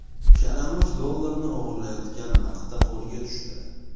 Kalamush dollarni o‘g‘irlayotgan vaqtda qo‘lga tushdi .